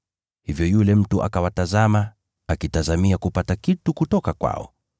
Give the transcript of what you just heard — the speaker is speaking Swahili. Hivyo yule mtu akawatazama, akitazamia kupata kitu kutoka kwao.